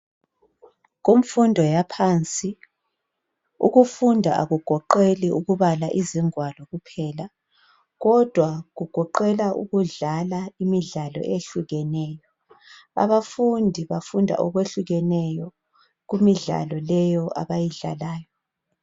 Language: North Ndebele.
Kumfundo yaphansi. Ukufunda akugoqeli ukubala izingwalo kuphela, kodwa kugoqela ukudlala imidlalo eyehlukeneyo . Abafundi bafunda okwehlukeneyo kumidlalo leyo abayidlalayo.